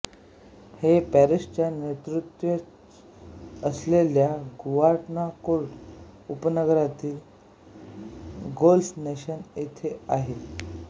हे पॅरिसच्या नैऋत्येस असलेल्या गुआनाकोर्ट उपनगरातील ल गोल्फ नॅशनल येथे आहे